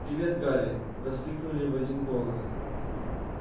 привет гарри воскликнули в один голос